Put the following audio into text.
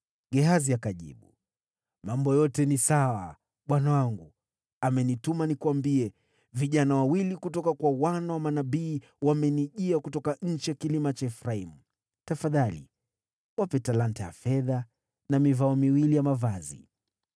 Gehazi akajibu, “Mambo yote ni sawa. Bwana wangu amenituma nikuambie, ‘Vijana wawili kutoka kwa wana wa manabii wamenijia kutoka nchi ya vilima ya Efraimu. Tafadhali wape talanta ya fedha na mivao miwili ya mavazi.’ ”